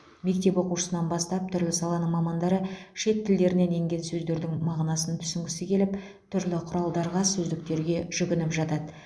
мектеп оқушысынан бастап түрлі саланың мамандары шет тілдерінен енген сөздердің мағынасын түсінгісі келіп түрлі құралдарға сөздіктерге жүгініп жатады